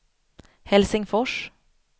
Helsingfors